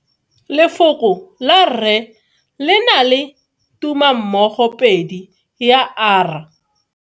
Lefoko la rre le na le tumammogopedi ya, r.